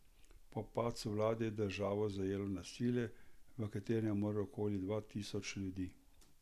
Po padcu vlade je državo zajelo nasilje, v katerem je umrlo okoli dva tisoč ljudi.